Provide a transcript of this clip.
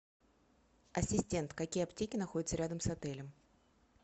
ассистент какие аптеки находятся рядом с отелем